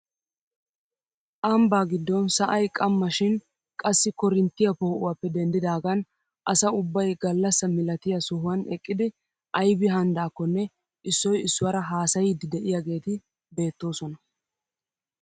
Ambbaa giddon sa'ay qamma shin qassi korinttiyaa poo'uwappe denddidagan asa ubbay gallasa milatiyaa sohuwaann eqqidi aybi hanidakonne issoy issuwaara haasayiidi de'iyaageti beettoosona.